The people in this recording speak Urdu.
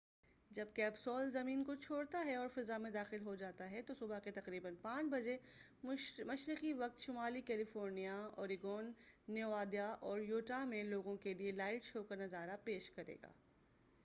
جب کیپسول زمین کو چھوڑتا ہے اور فضا میں داخل ہوتا ہے تو، صبح کے تقریبا 5 بجے مشرقی وقت، شمالی کیلیفورنیا، اوریگون، نیوادا اور یوٹاہ میں لوگوں کیلئے لائٹ شو کا نظارہ پیش کرے گا۔